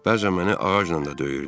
Bəzən məni ağacla da döyürdü.